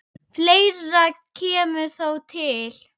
Fleira kemur þó til.